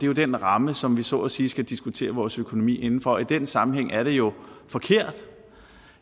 jo den ramme som vi så at sige skal diskutere vores økonomi inden for og i den sammenhæng er det jo forkert